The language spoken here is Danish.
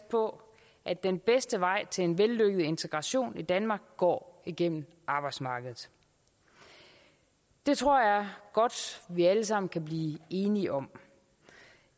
på at den bedste vej til en vellykket integration i danmark går igennem arbejdsmarkedet det tror jeg godt vi alle sammen kan blive enige om